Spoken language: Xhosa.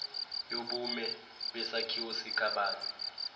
yobume besakhiwo sikabani